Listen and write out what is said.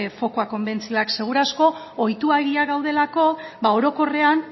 fokua konbentzioak seguru aski ohituegiak gaudelako ba orokorrean